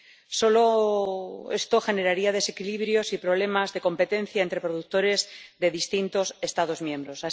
Esto solo generaría desequilibrios y problemas de competencia entre productores de distintos Estados miembros.